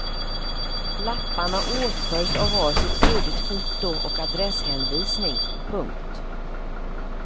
Lapparna åtföljs av var sitt suddigt foto och adresshänvisning. punkt